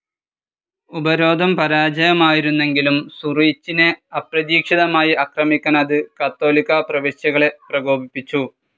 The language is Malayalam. ഉപരോധം പരാജയമായിരുന്നെങ്കിലും സൂറിച്ചിനെ അപ്രതീക്ഷിതമായി ആക്രമിക്കാൻ അത് കത്തോലിക്കാ പ്രവശ്യകളെ പ്രകോപിച്ചു.